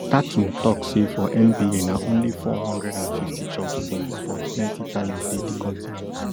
tatun tok say for nba na only four hundred and fifty jobs dey but plenti talent dey di continent